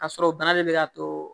Ka sɔrɔ bana de bɛ ka too